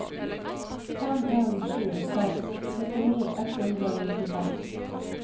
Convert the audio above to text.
fem en sju seks syttini ett hundre og nittifem